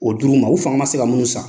O di l'u ma, u fanga ma se ka mun san.